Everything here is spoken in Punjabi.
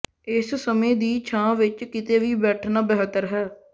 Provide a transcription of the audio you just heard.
ਇਸ ਸਮੇਂ ਦੀ ਛਾਂ ਵਿੱਚ ਕਿਤੇ ਵੀ ਬੈਠਣਾ ਬਿਹਤਰ ਹੈ